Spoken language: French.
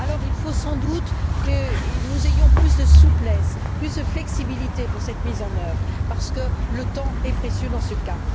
Il faut sans doute que nous ayons plus de souplesse, plus de flexibilité pour cette mise en œuvre, parce que le temps est précieux dans ce cas.